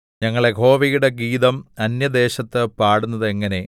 ഞങ്ങൾ യഹോവയുടെ ഗീതം അന്യദേശത്ത് പാടുന്നതെങ്ങനെ